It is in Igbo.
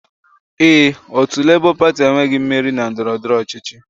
Ee, otu Labour Party enweghị mmeri na ndọrọndọrọ ọchịchị